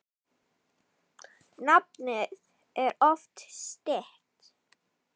Nafnið er oft stytt.